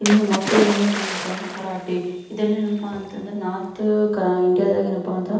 ಇಲ್ಲಿ ಮಕ್ಕಳು ಏನಪ್ಪಾ ಅಂತ ಅಂದ್ರೆ ಕರಾಟಿ ಇದೆಲ್ಲಾ ಏನಪಾ ಅಂತಂದ್ರೆ ನಾರ್ತ್ ಇಂಡಿಯಾ ದಗೆ ಎನ್ಪ --